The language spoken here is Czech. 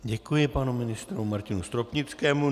Děkuji panu ministru Martinu Stropnickému.